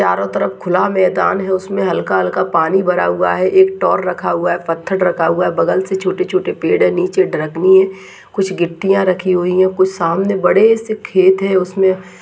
चारो तरफ खुला मैदान है उसमे हल्का-हल्का पानी भरा हुआ है एक टोर रखा हुआ है पत्थर रखा हुआ है बगल से छोटे-छोटे पेड़ हैं निचे द्रकनी है कुछ गिट्टियां रखी हुई हैं कुछ सामने बड़े से खेत हैं उसमे --